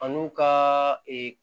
An n'u ka